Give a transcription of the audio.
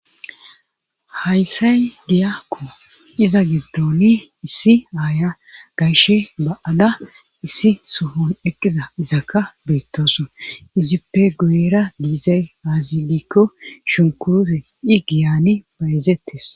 haysay giyakko iza gibdoni issi aaya gayshe ba7ada issi sohon eqqiza izaka beettoso izippe guera diizay aazidikko shunkure i giyani payezettes